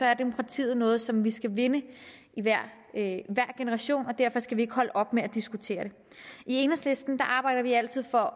er demokratiet noget som vi skal vinde i hver generation og derfor skal vi ikke holde op med at diskutere det i enhedslisten arbejder vi altid for